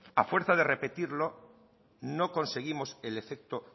a fuerza de repetirlo no conseguimos el efecto